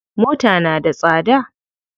Mota na da tsada.